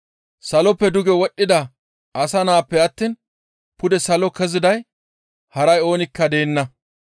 Saloppe duge wodhdhida asa Naappe attiin pude salo keziday haray oonikka deenna.